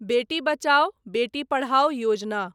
बेटी बचाओ, बेटी पढ़ाओ योजना